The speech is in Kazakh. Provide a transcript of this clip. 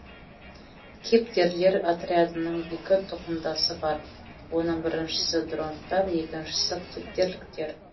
кептерлер отрядының екі тұқымдасы бар оның біріншісі дронттар екіншісі кептерліктер